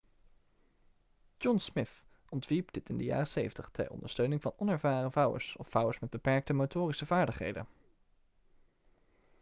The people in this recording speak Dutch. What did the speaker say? john smith ontwierp dit in de jaren 70 ter ondersteuning van onervaren vouwers of vouwers met beperkte motorische vaardigheden